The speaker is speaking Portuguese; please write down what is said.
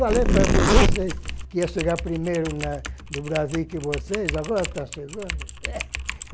Falei para vocês que ia chegar primeiro na no Brasil que vocês, agora está chegando.